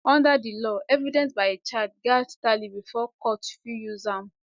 under di law evidence by a child gatz tally bifor court fit use am